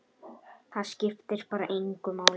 Það skiptir bara engu máli.